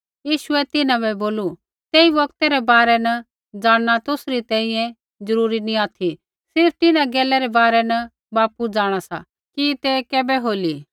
यीशुऐ तिन्हां बै बोलू तेई बौगतै रै बारै न ज़ाणना तुसरी तैंईंयैं जरूरी नैंई ऑथि सिर्फ़ तिन्हां गैला रै बारै न बापू जाँणा सा कि तै कैबै होली